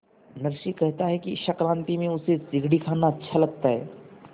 नरसी कहता है कि संक्रांति में उसे चिगडी खाना अच्छा लगता है